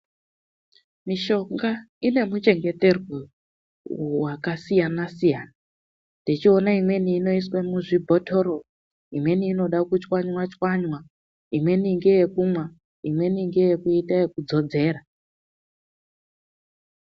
MISHONGA INEMICHENGETERWO YAKASIYANA SIYANA TECHIONA IMWENI INOISWE MUZVIBOTORO IMWENI INODA KUCHWANYWA CHWANYWA NDEYEKUMWA IMWENI NDEYEKUITA YEKUDZODZERA.